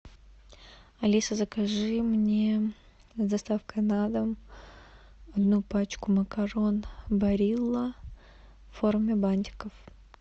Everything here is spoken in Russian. алиса закажи мне с доставкой на дом одну пачку макарон барилла в форме бантиков